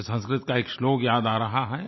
मुझे संस्कृत का एक श्लोक याद आ रहा है